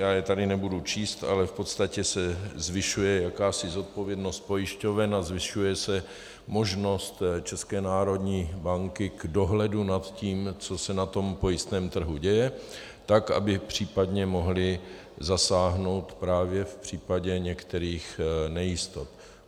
Já je tady nebudu číst, ale v podstatě se zvyšuje jakási odpovědnost pojišťoven a zvyšuje se možnost České národní banky k dohledu nad tím, co se na tom pojistném trhu děje, tak aby případě mohly zasáhnout právě v případě některých nejistot.